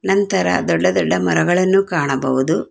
ನಂತರ ದೊಡ್ಡ ದೊಡ್ಡ ಮರಗಳನ್ನು ಕಾಣಬಹುದು.